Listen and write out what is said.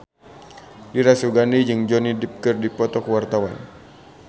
Dira Sugandi jeung Johnny Depp keur dipoto ku wartawan